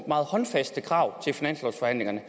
meget håndfaste krav til finanslovsforhandlingerne